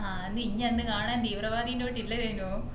ആ നിന്നെ അന്ന് കാണാൻ തീവ്രവദിന്റെ